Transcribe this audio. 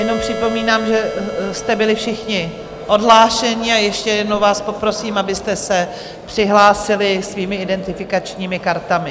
Jenom připomínám, že jste byli všichni odhlášeni, a ještě jednou vás poprosím, abyste se přihlásili svými identifikačními kartami.